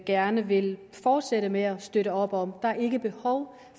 gerne vil fortsætte med at støtte op om der er ikke behov